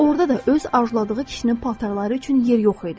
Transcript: Orda da öz arzuladığı kişinin paltarları üçün yer yox idi.